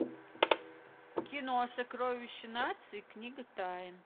кино сокровище нации книга тайн